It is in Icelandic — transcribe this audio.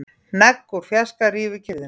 Hnegg úr fjarska rýfur kyrrðina.